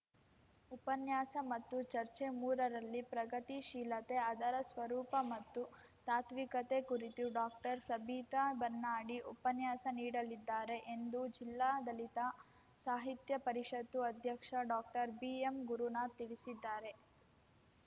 ಉಪನ್ಯಾಸ ಮತ್ತು ಚರ್ಚೆಮೂರ ರಲ್ಲಿ ಪ್ರಗತಿ ಶೀಲತೆ ಅದರ ಸ್ವರೂಪ ಮತ್ತು ತಾತ್ವಿಕತೆ ಕುರಿತು ಡಾಕ್ಟರ್ ಸಬಿತಾ ಬನ್ನಾಡಿ ಉಪನ್ಯಾಸ ನೀಡಲಿದ್ದಾರೆ ಎಂದು ಜಿಲ್ಲಾ ದಲಿತ ಸಾಹಿತ್ಯ ಪರಿಷತ್ತು ಅಧ್ಯಕ್ಷ ಡಾಕ್ಟರ್ ಬಿಎಂಗುರುನಾಥ್‌ ತಿಳಿಸಿದ್ದಾರೆ